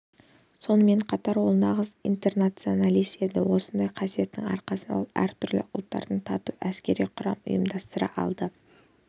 сонымен қатар ол нағыз интернационалист еді осындай қасиетінің арқасында ол әртүрлі ұлттардан тату әскери құрам ұйымдастыра алды